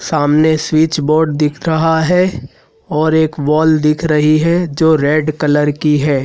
सामने switch board दिख रहा है और एक वॉल दिख रही है जो रेड कलर की है।